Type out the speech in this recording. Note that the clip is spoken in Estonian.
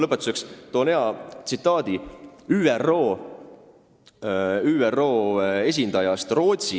" Lõpetuseks toon hea tsitaadi ÜRO esindajalt Rootsis.